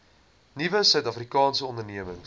nuwe suidafrikaanse ondernemings